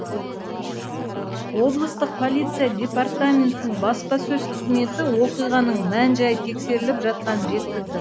облыстық полиция департаментінің баспасөз қызметі оқиғаның мән жәйі тексеріліп жатқанын жеткізді